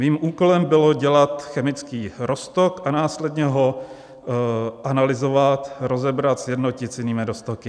Mým úkolem bylo dělat chemický roztok a následně ho analyzovat, rozebrat, sjednotit s jinými roztoky.